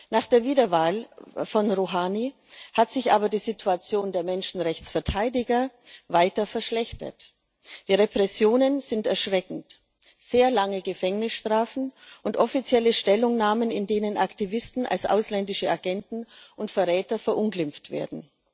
Nach der Wiederwahl von Rouhani hat sich aber die Situation der Menschenrechtsverteidiger weiter verschlechtert. Die Repressionen sind erschreckend sehr lange Gefängnisstrafen und offizielle Stellungnahmen, in denen Aktivisten als ausländische Agenten und Verräter verunglimpft werden.